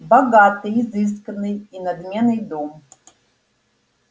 богатый изысканный и надменный дом